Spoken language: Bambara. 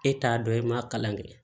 E t'a dɔn i ma kalan kɛ